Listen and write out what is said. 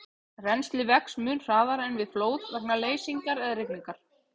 Rennslið vex mun hraðar en við flóð vegna leysingar eða rigningar.